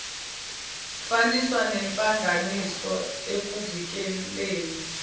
faniswano nehlanganisiwe ekuvikeleni